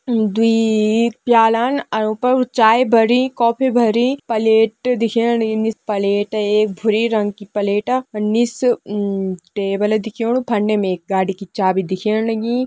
दुई-ई-ई-ई प्यालान उं पर चाय भरी कॉफ़ी भरीं पलेट दिखेण लगीं निस पलेट एक भूरी रंग की पलेट निस टेबल दिखेणु फंडे में एक गाड़ी की चाबी दिखेण लगीं।